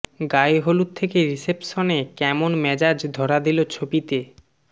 গায়ে হলুদ থেকে রিসেপশনে কেমন মেজাজ ধরা দিল ছবিতে